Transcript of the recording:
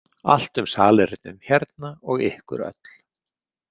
Allt um salernin hérna og ykkur öll.